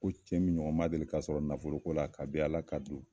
Ko cɛ min ɲɔgɔn ma deli k'a sɔrɔ nafolo ko la, kabi Ala ka du